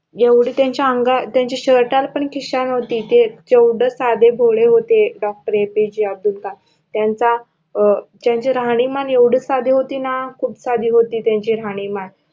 एवढ त्यांचा अंगा त्यांचा शर्टाला पण खिशा नहोती ते केवढ साधे भोळे होते DoctorAPJ अब्दुल कलाम त्यांचा अं त्यांची राहणीमान एवढी साधी होती ना खूप साधी होती त्यांची राहणीमान